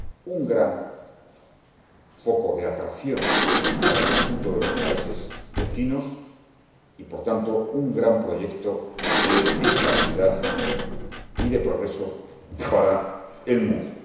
un gran foco de atracción para el conjunto de los países vecinos y, por tanto, un gran proyecto de estabilidad y de progreso para el mundo.